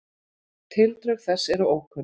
Tildrög þessa eru ókunn.